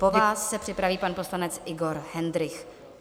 Po vás se připraví pan poslanec Igor Hendrych.